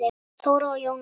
Þóra og Jóna.